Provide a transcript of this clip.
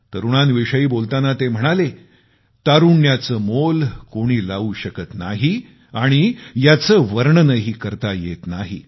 तरूणांविषयी बोलताना ते म्हणाले तारुण्याचे मोल कोणी लावू शकत नाही आणि याचे वर्णनही करता येत नाही